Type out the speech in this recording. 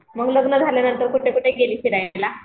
मग लग्न झाल्या नंतर कुठे कुठे गेली फिरायला?